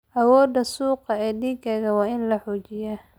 Awoodda suuqa ee digaagga waa in la xoojiyaa.